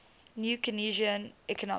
new keynesian economics